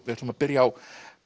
við ætlum að byrja á